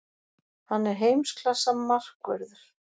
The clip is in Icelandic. Hann er heimsklassa markvörður.